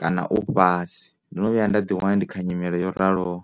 kana u fhasi, ndo no vhuya nga ḓi wana ndi kha nyimele yo raloho.